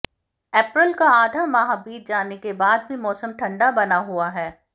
अप्रैल का आधा माह बीत जाने के बाद भी मौसम ठंडा बना हुआ है